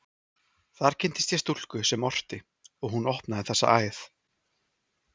Þar kynntist ég stúlku sem orti, og hún opnaði þessa æð.